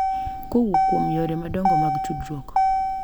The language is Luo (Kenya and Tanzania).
Kowuok kuom yore madongo mag tudruok,